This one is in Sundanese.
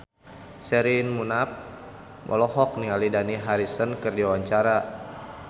Sherina Munaf olohok ningali Dani Harrison keur diwawancara